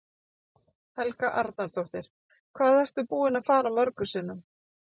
Helga Arnardóttir: Hvað ertu búinn að fara mörgum sinnum?